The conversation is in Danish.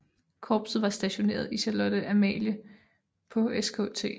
Korpset var stationeret i Charlotte Amalie på Skt